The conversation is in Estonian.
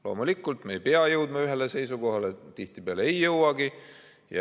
Loomulikult, me ei pea jõudma ühele seisukohale, tihtipeale ei jõuagi.